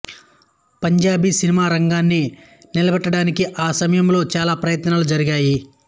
Punjabi cinema రంగాన్ని నిలబెట్టడానికి ఆ సమయంలో చాలా ప్రయత్నాలు జరిగాయి